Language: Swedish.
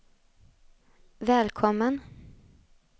välkommen